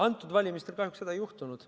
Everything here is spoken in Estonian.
Nendel valimistel kahjuks seda ei juhtunud.